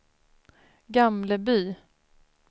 Gamleby